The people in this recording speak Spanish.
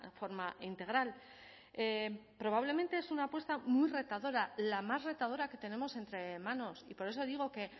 forma integral probablemente es una apuesta muy retadora la más retadora que tenemos entre manos y por eso digo que